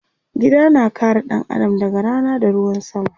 Gida na kare ɗan Adam daga Rana da ruwan sama